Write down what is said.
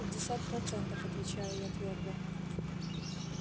пятьдесят процентов отвечаю я твёрдо